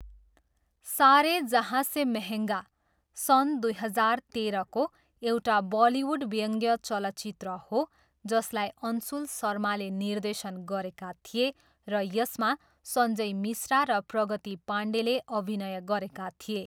सारे जहाँ से मेहङ्गा सन् दुई हजार तेह्रको एउटा बलिउड व्यङ्ग्य चलचित्र हो जसलाई अन्सुल शर्माले निर्देशन गरेका थिए र यसमा सञ्जय मिश्रा र प्रगति पाण्डेले अभिनय गरेका थिए।